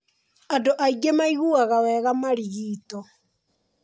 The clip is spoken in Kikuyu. Andũ aingĩ maiguaga wega marigito.